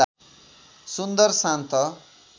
सुन्दर शान्त